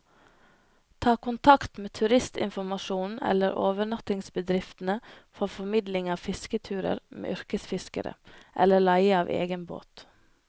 Ta kontakt med turistinformasjonen eller overnattingsbedriftene for formidling av fisketurer med yrkesfiskere, eller leie av egen båt.